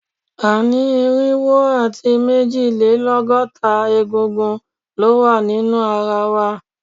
A ni irinwo ati mejilelọgọta egungun ninu ara wa